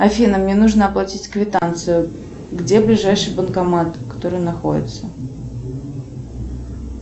афина мне нужно оплатить квитанцию где ближайший банкомат который находится